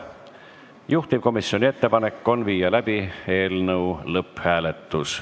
Juhtivkomisjoni ettepanek on panna eelnõu lõpphääletusele.